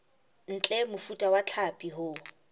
ntle mofuta wa hlapi o